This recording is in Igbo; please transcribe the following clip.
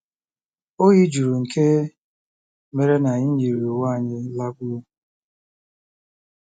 Oyi juru nke mere na anyị yiri uwe anyị lakpuo.